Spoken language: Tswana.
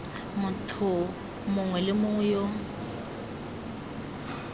motho mongwe le mongwe yo